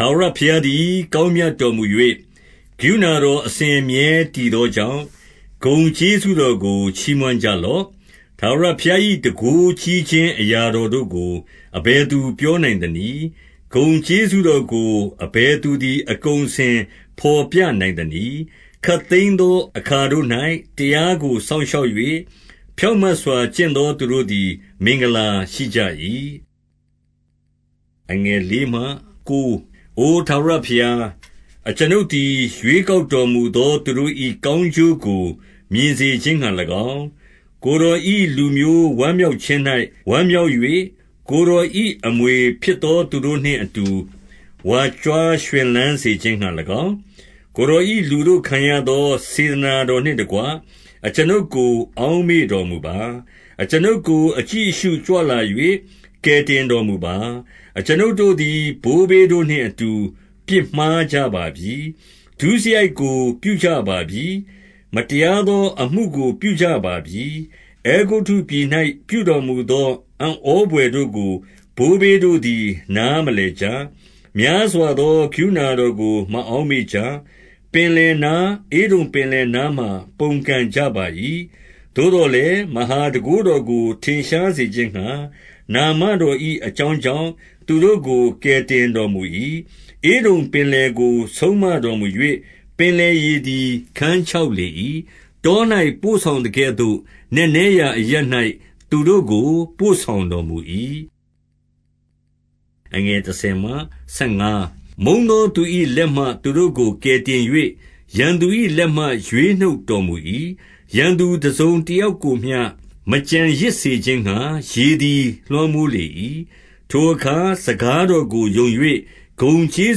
ထာဝရဘုရားသည် ကောင်းမြတ်တော်မူ၍၊ ကရုဏာတော် အစဉ်အမြဲတည်သောကြောင့်၊ ဂုဏ် ကျေးဇူးတော်ကို ချီးမွမ်းကြလော့။ ထာဝရဘုရား၏ တန်ခိုးကြီးခြင်း အရာတော် တို့ကို အဘယ်သူပြောနိုင်သနည်း။ ဂုဏ်ကျေးဇူးတော်ကို အဘယ်သူသည် အကုန်အစင် ဘော်ပြနိုင်သနည်း။ ခပ်သိမ်းသော အခါတို့၌ တရားကို စောင့် ရှောက်၍၊ ဖြောင့်မတ်စွာ ကျင့်သောသူတို့သည် မင်္ဂလာ ရှိကြ၏။ အို ထာဝရဘုရား၊ အကျွန်ုပ်သည် ရွေးကောက် တော်မူသော သူတို့၏ကောင်းကျိုးကို မြင်စေခြင်းငှါ၎င်း၊ ကိုယ်တော်၏ လူမျိုးဝမ်းမြောက်ခြင်း၌ ဝမ်းမြောက်၍၊ ကိုယ်တော်၏ အမွေဖြစ်သောသူတို့နှင့်အတူ ဝါကြွား ရွှင်လန်းစေခြင်းငှါ၎င်း၊ ကိုယ်တော်၏ လူတို့ခံရသော စေတနာတော်နှင့်တကွ၊ အကျွန်ုပ်ကို အောက်မေ့တော် မူပါ။ အကျွန်ုပ်ကို အကြည့်အရှုကြွလာ၍ ကယ်တင်တော် မူပါ။ အကျွန်ုပ်တို့သည် ဘိုးဘေးတို့နှင့်အတူ ပြစ်မှား ကြပါပြီ။ ဒုစရိုက်ကို ပြုကြပါပြီ။ မတရားသောအမှုကို ပြုကြပါပြီ။ အဲဂုတ္တုပြည်၌ ပြုတော်မူသော အံ့ဩဘွယ်တို့ကို ဘိုးဘေးတို့သည် နားမလည်ကြ။ များစွာသော ကရုဏာ တော်ကို မအောက်မေ့ကြ။ ပင်လယ်နား၊ ဧဒုံပင်လယ်နား မှာ ပုန်ကန်ကြပါ၏။ သို့သော်လည်း၊ မဟာတန်ခိုးတော်ကို ထင်ရှား စေခြင်းငှါ၊ နာမတော်၏အကြောင်းကြောင့် သူတို့ကို ကယ်တင်တော်မူ၏။ ဧဒုံပင်လယ်ကို ဆုံးမတော်မူ၍၊ ပင်လယ်ရေ သည် ခန်းခြောက်လေ၏။ တော၌ ပို့ဆောင်သကဲ့သို့ နက်နဲရာအရပ်၌ သူတို့ကို ပို့ဆောင်တော်မူ၏။ မုန်းသောသူ၏လက်မှ သူတို့ကို ကယ်တင်၍၊ ရန်သူ၏လက်မှ ရွေးနှုတ်တော်မူ၏။ ရန်သူတစုံတယောက်ကိုမျှ မကျန်ရစ်စေခြင်းငှါ၊ ရေသည် လွှမ်း မိုးလေ၏။ ထိုအခါ စကားတော်ကို ယုံ၍ ဂုဏ်ကျေး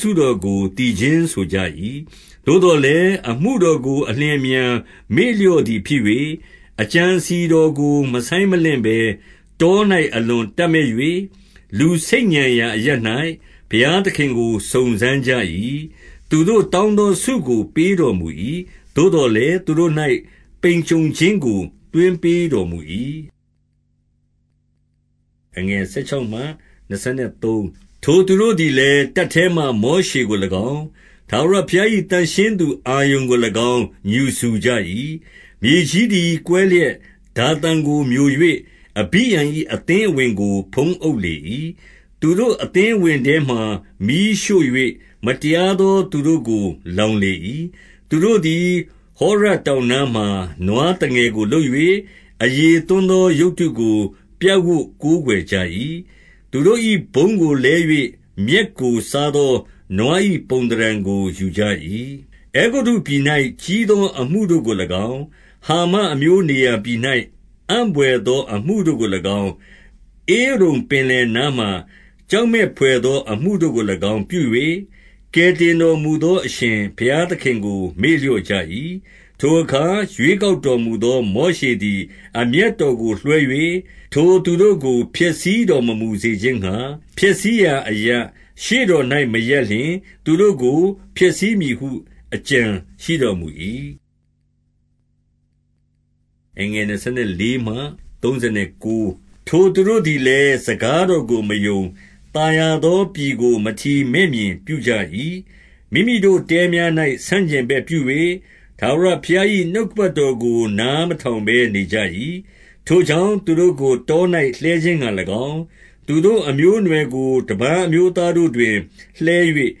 ဇူး တော်ကို သီချင်းဆိုကြ၏။ သို့သော်လည်း၊ အမှုတော်ကို အလျင်အမြန် မေ့လျော့သည်ဖြစ်၍၊ အကြံအစည်တော်ကို မဆိုင်းမလင့် ဘဲ၊ တော၌အလွန်တပ်မက်၍၊ လူဆိတ်ညံရာအရပ် ၌ ဘုရားသခင်ကို စုံစမ်းကြ၏။ သူတို့တောင်းသော ဆုကို ပေးတော်မူ၏။ သို့သော်လည်း၊ သူတို့၌ ပိန်ကြုံခြင်းကို သွင်းပေး တော်မူ၏။ ထိုသူတို့သည်လည်း၊ တပ်ထဲမှာ မောရှေကို၎င်း၊ ထာဝရဘုရား၏ သန့်ရှင်းသူအာရုန်ကို၎င်း ငြူစူကြ၏။ မြေကြီးသည် ကွဲလျက် ဒါသန်ကိုမျို၍၊ အဘိရံ၏ အသင်းအဝင်ကို ဖုံးအုပ်လေ၏။ သူတို့အသင်းအဝင်ထဲမှာ မီးရှို့၍၊ မတရားသော သူတို့ကို လောင်လေ၏။ သူတို့သည် ဟောရပ်တောင်နားမှာ နွားသငယ် ကို လုပ်၍၊ အရည်သွန်းသော ရုပ်တုကို ပြပ်ဝပ်ကိုးကွယ် ကြ၏။ သူတို့၏ဘုန်းကိုလဲ၍ မြက်ကိုစားသော နွား၏ ပုံသဏ္ဍာန်ကို ယူကြ၏။ အဲဂုတ္တုပြည်၌ ကြီးသော အမှုတို့ကို၎င်း၊ ဟာမအမျိုးနေရာ၌ အံ့ဘွယ်သောအမှုတို့ကို၎င်း၊ ဧဒုံပင်လယ်နားမှာ ကြောက်မက်ဘွယ်သော အမှုတို့ ကို၎င်း ပြု၍၊ ကယ်တင်တော်မူသော အရှင်ဘုရားသခင် ကို မေ့လျော့ကြ၏။ ထိုအခါ ရွေးကောက်တော်မူသော မောရှေသည် အမျက်တော်ကို လွှဲ၍၊ ထိုသူတို့ကို ဖျက်ဆီးတော်မမူစေ ခြင်းငှါ၊ ဖျက်ဆီးရာအရပ်၊ ရှေ့တော်၌ မရပ်လျှင်၊ သူတို့ကို ဖျက်ဆီးမည်ဟု အကြံရှိတော်မူ၏။ ထိုသူတို့သည်လည်း စကားတော်ကို မယုံ၊ သာယာသောပြည်ကို မထီမဲ့မြင်ပြုကြ၏။ မိမိတို့တဲများ၌ ဆန့်ကျင်ဘက်ပြု၍၊ ထာဝရ ဘုရား၏ နှုတ်ကပတ်တော်ကို နားမထောင်ဘဲနေကြ၏။ ထိုကြောင့် သူတို့ကို တော၌လှဲခြင်းငှါ၎င်း၊ သူတို့အမျိုးအနွယ်ကို တပါးအမျိုးသားတို့တွင် လှဲ၍၊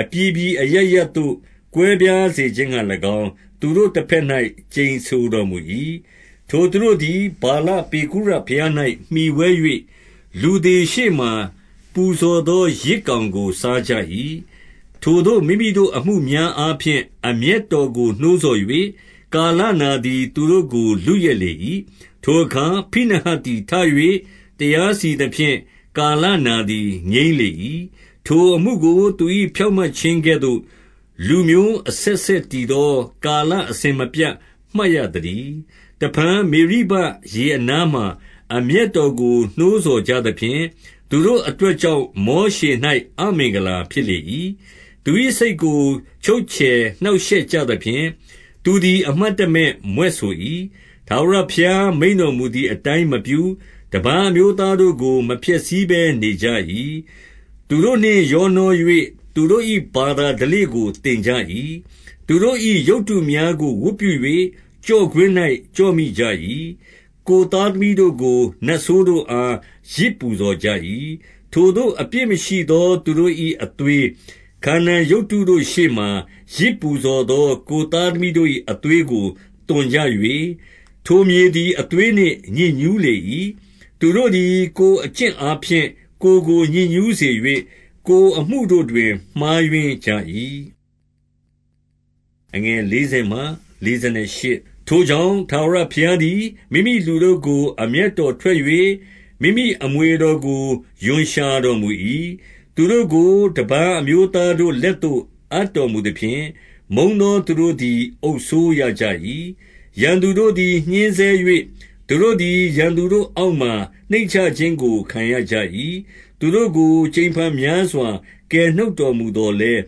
အပြည်ပြည်အရပ်ရပ်သို့ ကွဲပြားစေခြင်းငှါ၎င်း၊ သူတို့တဘက်၌ ကျိန်ဆိုတော်မူ၏။ ထိုသူတို့သည် ဗာလပေဂုရဘုရား၌ မှီဝဲ၍ လူသေရှေ့မှာ ပူဇော်သောယဇ်ကောင်ကို စားကြ၏။ ထိုသို့မိမိတို့အမှုများအားဖြင့် အမျက်တော်ကို နှိုးဆော်၍၊ ကာလနာသည် သူတို့ကို လုယက်လေ၏။ ထိုအခါ ဖိနဟတ်သည် ထ၍တရားစီရင်သဖြင့်၊ ကာလနာသည် ငြိမ်းလေ၏။ ထိုအမှုကို သူ၏ဖြောင့်မတ်ခြင်းကဲ့သို့ လူမျိုး အဆက်ဆက်တည်သော ကာလအစဉ်မပြတ် မှတ်ရ သတည်း။ တဖန် မေရိဘရေအနားမှာ အမျက်တော်ကို နှိုးဆော်ကြသဖြင့်၊ သူတို့အတွက်ကြောင့် မောရှေ၌ အမင်္ဂလာဖြစ်လေ၏။ သူ၏စိတ်ကို ချုပ်ချယ်နှောင့်ရှက်ကြသဖြင့်၊ သူသည် အမှတ်တမဲ့ မြွက်ဆို၏။ ထာဝရဘုရားမိန့်တော်မူသည် အတိုင်းမပြု၊ တပါးအမျိုးသားတို့ကို မဖျက်ဆီးဘဲ နေကြ၏။ သူတို့နှင့်ရောနှော၍ သူတို့၏ ဘာသာဓလေ့ကို သင်ကြ၏။ သူတို့၏ရုပ်တုများကို ဝတ်ပြု၍ ကျော့ကွင်း၌ ကျော့မိကြ၏။ ကိုယ်သားသမီးတို့ကို နတ်ဆိုးတို့အား ယဇ် ပူဇော်ကြ၏။ ထိုသို့အပြစ်မရှိသော သူတို့၏ အသွေး၊ ခါနာန် ရုပ်တုတို့ရှေ့မှာ ယဇ်ပူဇော်သော ကိုယ်သားသမီးတို့၏ အသွေးကို သွန်ကြ၍၊ ထိုမြေသည် အသွေးနှင့် ညစ်ညူး လေ၏။ သူတို့သည် ကိုယ်အကျင့်အားဖြင့် ကိုယ်ကို ညစ်ညူးစေ၍၊ ကိုယ်အမှုတို့တွင် မှားယွင်းကြ၏။ ထိုကြောင့် ထာဝရဘုရားသည် မိမိလူတို့ကို အမျက်တော်ထွက်၍၊ မိမိအမွေတော်ကို ရွံရှာတော်မူ၏။ သူတို့ကို တပါးအမျိုးသားတို့လက်သို့ အပ်တော် မူသဖြင့်၊ မုန်းသောသူတို့သည် အုပ်စိုးရကြ၏။ ရန်သူတို့သည် ညှဉ်းဆဲ၍၊ သူတို့သည် ရန်သူတို့ အောက်မှာ နှိမ့်ချခြင်းကို ခံရကြ၏။ သူတို့ကို ကြိမ်ဖန်များစွာ ကယ်နှုတ်တော်မူသော်လည်း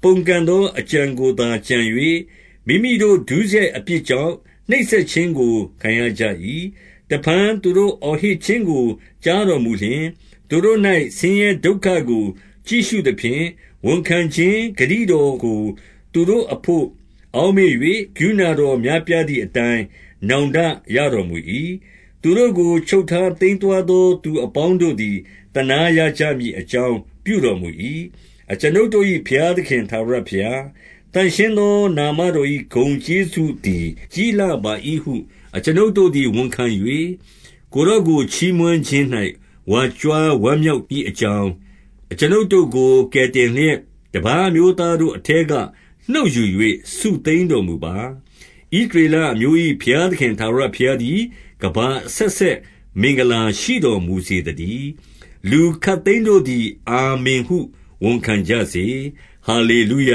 ၊ ပုန်ကန်သော အကြံကိုသာ ကြံ၍၊ မိမိတို့ဒုစရိုက် အပြစ်ကြောင့် နှိပ်စက်ခြင်းကို ခံရကြ၏။ တဖန်သူတို့ အော်ဟစ်ခြင်းကို ကြားတော်မူလျှင်၊ သူတို့၌ဆင်းရဲဒုက္ခကို ကြည့်ရှုသဖြင့်၊ ဝန်ခံခြင်းဂတိတော်ကို သူတို့အဘို့အောက်မေ့၍၊ ကရုဏာတော် များပြားသည်အတိုင်း နောင်တရတော် မူ၏။ သူတို့ကို ချုပ်ထားသိမ်းသွားသော သူအပေါင်း တို့သည် သနားရကြမည်အကြောင်း ပြုတော်မူ၏။ အကျွန်ုပ်တို့၏ ဘုရားသခင်ထာဝရဘုရား၊ သန့်ရှင်းသော နာမတော်၏ ဂုဏ်ကျေးဇူးသည် ကြီးလှပါ ၏ဟု အကျွန်ုပ်တို့သည် ဝန်ခံ၍၊ ကိုယ်တော်ကို ချီးမွမ်း ခြင်း၌ ဝါကြွားဝမ်းမြောက်မည်အကြောင်း၊ အကျွန်ုပ်တို့ကို ကယ်တင်လျက်၊ တပါးအမျိုးသားတို့အထဲက နှုတ်ယူ၍ စုသိမ်းတော်မူပါ။ ဣသရေလအမျိုး၏ ဘုရားသခင်ထာဝရဘုရား သည် ကမ္ဘာအဆက်ဆက် မင်္ဂလာရှိတော်မူစေသတည်း။ လူခပ်သိမ်းတို့သည် အာမင်ဟု ဝန်ခံကြစေ။ ဟာလေ လုယ